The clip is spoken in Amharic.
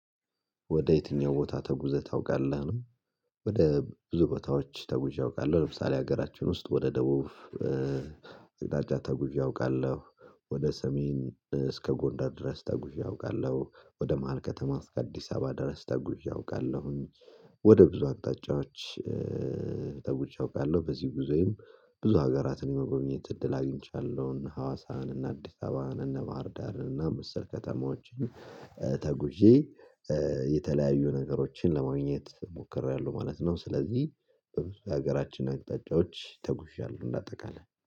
ወደ የትኛው ቦታ ተጉዘህ ታውቃለህ ነው? ወደ ብዙ ቦታዎች ተጉዤ አውቃለሁ ለምሳሌ ሀገራችን ውስጥ ወደ ደቡብ እዳጃ ተጉዤ አውቃለሁ። ወደ ሰሜን እስከ ጎንዳር ድረስ ተጉዤ አውቃለሁ ወደ መሃል ከተማ ከአዲስ አበባ ድረስ ተጉዤ አውቃለሁኝ። ወደ ብዙ አቅጣጫዎች ተጉዤ አውቃለሁ። በዚህ ጎዜይም ብዙ ሀገራትን የመጎብኘት እድል አግኝቻለሁኝ እነ ሀዋሳን እነ አዲስ አበባን እነ ባህርዳርን እና መሰል ከተማዎችን። ተጉዤ የተለያዩ ነገሮችን ለማግኘት ሞክሬያለሁ ማለት ነው። ስለዚህ በብዙ የሀገራችን አቅጣጫዎች ተጉዣለሁ እንደ አጠቃላይ